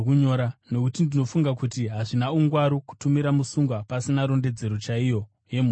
Nokuti ndinofunga kuti hazvina ungwaru kutumira musungwa pasina rondedzero chaiyo yemhosva yake.”